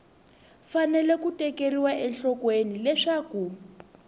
fanele ku tekeriwa enhlokweni leswaku